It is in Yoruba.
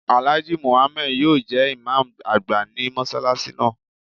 Alhaji Muhammad yóò jẹ imam agba ni mọsalasi naa